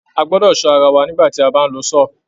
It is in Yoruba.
A gbọ́dọ̀ sọ ara wà nígbà ti a bá ń lo saw.